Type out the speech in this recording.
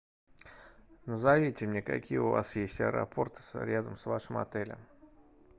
назовите мне какие у вас есть аэропорты рядом с вашим отелем